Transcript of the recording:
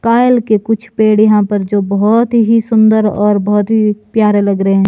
कायल के कुछ पेड़ यहां पर जो बहोत ही सुंदर और बहोत ही प्यारे लग रहे हैं।